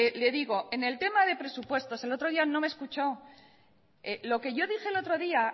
le digo en el tema de presupuestos el otro día no me escuchó lo que yo dije el otro día